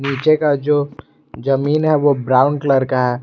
पीछे का जो जमीन है वो ब्राउन कलर का है।